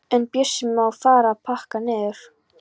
En Bjössi má fara að pakka niður.